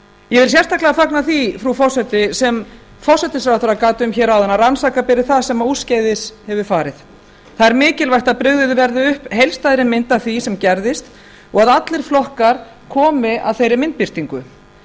ég vil sérstaklega fagna því frú forseti sem forsætisráðherra gat um hér áðan að rannsaka beri það sem úrskeiðis hefur farið það er mikilvægt að brugðið verði upp heildstæðri mynd af því sem gerðist og að allir flokkar komi að þeirri myndbirtingu